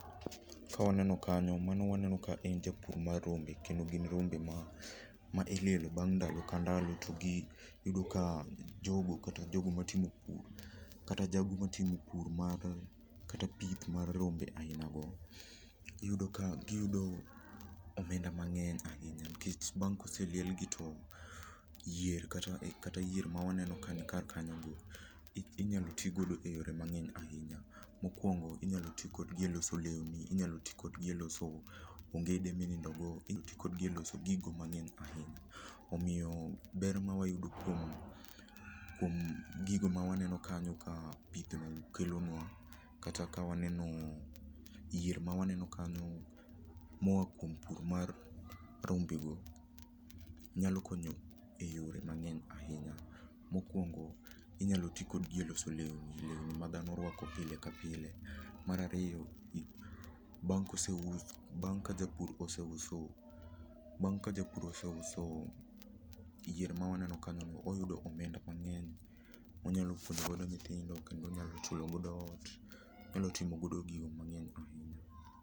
Ka waneno kanyo mano waneno ka en japur mar rombe, kendo gin rombe ma ilielo bang' ndalo ka ndalo gi iyudo ka jogo kata jago matimo pur mar pith mar rombe ainago, iyudo ka giyudo omenda mang'eny ahinya nikech bang' ka oseliel gi to yier kata yier ma waneno kaeni inyalo ti godo eyore mang'eny ahinya. Inyalo ti kodgi eloso lewni, inyalo ti kodgi eloso ongede ma inindo go, inyalo ti kodgi eloso gigo mang'eny ahinya. Omiyo ber ma wayudo kuom kuom gigo mawaneno kanyo ka kelonua kata ka waneno yier ma waneno kanyo oa kuom pur mar rombego nyalo konyo eypre mang'eny ahinya. Mokuongo inyalo ti kodgi eloso lemni, lewni ma dhano ruako pile kapile bang' ka japur oseuso bang' ka japur oseuso yier ma waneno kanyono, oyudo omenda manyien monyalo puonjogodo nyithinde kendo onyalo chulo godo ot, onyalo timogodo gige mang'eny